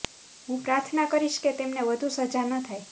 હુ પ્રાર્થના કરીશ કે તેમને વધુ સજા ન થાય